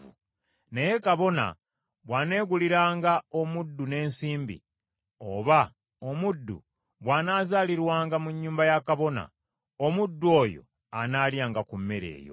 Naye kabona bw’aneeguliranga omuddu n’ensimbi, oba omuddu bw’anaazaalirwanga mu nnyumba ya kabona, omuddu oyo anaalyanga ku mmere eyo.